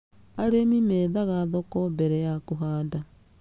Arĩmi methaga thoko mbere ya kũhanda.